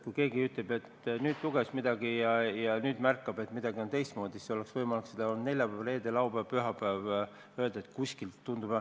Kui keegi ütleb, et ta luges nüüd midagi ja nüüd märkab, et midagi on teistmoodi, siis ta oleks võinud seda öelda neljapäeval, reedel, laupäeval, pühapäeval.